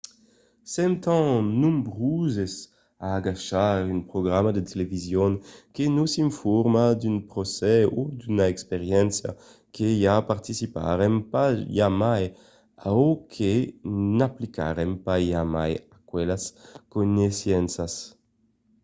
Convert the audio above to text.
sèm tan nombroses a agachar un programa de television que nos informa d'un procès o d'una experiéncia que i participarem pas jamai o que n'aplicarem pas jamai aquelas coneissenças